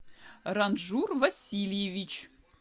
ранжур васильевич